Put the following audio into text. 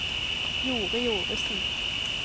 Jorid Ovesen